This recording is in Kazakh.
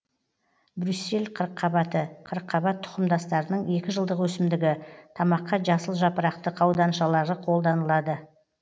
брюссель қырыққабаты қырыққабат тұқымдастарының екі жылдық өсімдігі тамаққа жасыл жапырақты қауданшалары қолданылады